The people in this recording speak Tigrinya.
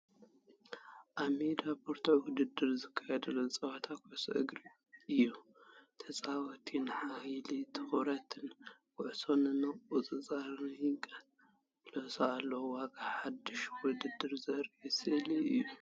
ኣብ ሜዳ ብርቱዕ ውድድር ዝካየደሉ ጸወታ ኩዕሶ እግሪ ኢዩ። ተጻወትቲ ንሓይልን ትኹረትን ኩዕሶ ንምቁጽጻር ይቃለሱ ኣለዉ፤ ዋጋ ሓድሽ ውድድር ዘርኢ ስእሊ እዩ።